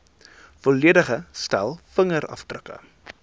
volledige stel vingerafdrukke